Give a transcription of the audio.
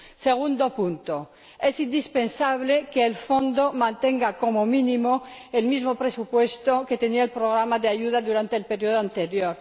En segundo lugar, es indispensable que el Fondo mantenga, como mínimo, el mismo presupuesto que tenía el programa de ayuda durante el periodo anterior.